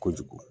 Kojugu